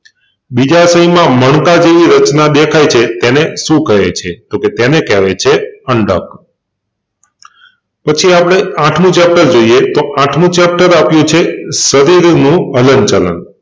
બીજાશયમાં મણકા જેવી રચના દેખાય છે તેને શું કહે છે તોકે તેને કેહવાય છે અંડક પછી આપણે આઠમું ચેપ્ટર જોઈએ તો આઠમું ચેપ્ટર આપ્યું છે શરીર નું હલનચલન.